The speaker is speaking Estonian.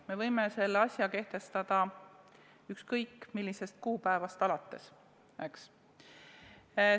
Me võime selle asja kehtestada ükskõik millisest kuupäevast alates, eks.